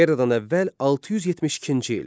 Eradan əvvəl 672-ci il.